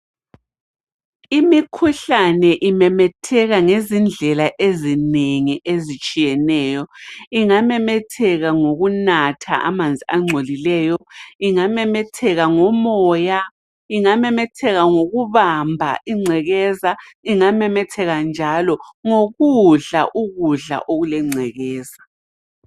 Imikhuhlane imemetheka ngezindlela ezinengi ezitshiyeneyo, ingamemetheka ngokunatha amanzi angcolileyo, ingamemetheka ngomoya, ingamemetheka ngokubamba ingcekeza ingamemetheka njalo ngokudla ukudla okulengcekeza.